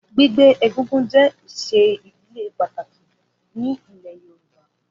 Gbígbé egúngún jé isé ìdílé pàtàkì ní ilé Yorùbá